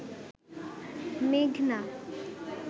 মেঘনা